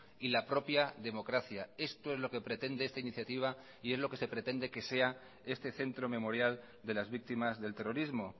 y la propia democracia esto es lo que pretende esta iniciativa y es lo que se pretende que sea este centro memorial de las víctimas del terrorismo